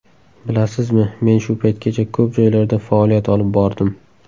Bilasizmi, men shu paytgacha ko‘p joylarda faoliyat olib bordim.